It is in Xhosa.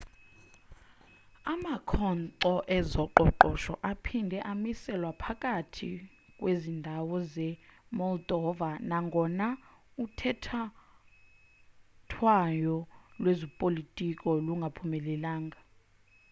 amakhonkco ezoqoqosho aphinde amiselwa phakathi kwezi ndawo ze-moldova nangona uthethathethwano lwezopolitiko lungaphumelelanga